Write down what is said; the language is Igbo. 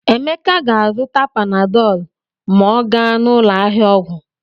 Emeka ga-azụta panadọlụ ma ọ gaa n'ụlọ ahịa ọgwụ.